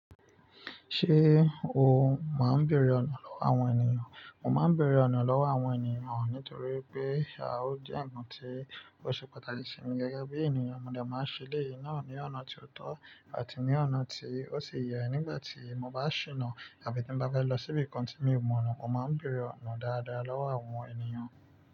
Ṣé o máa ń bèèrè ọ̀nà lọ́wọ́ àwọn ènìyàn? Mo máa ń bèèrè ọ̀nà lọ́wọ́ àwọn ènìyàn nítorí pé á ó jẹ nkán tí ó ṣe pàtàkì sí mi gẹ́gẹ́ bí ènìyàn. Mo dẹ máa ń ṣe eleyìí náà ní ọ̀nà tí ó tọ́ àti ní ọ̀nà tí ó ṣi yẹ nígbà tí mo bá ṣìnà àbí tí ń bá fẹ́ lọ síbi kan tí mi ò mọ̀nà. Mo máa ń bèèrè ọ̀nà dáradára lọ́wọ́ àwọn ènìyàn.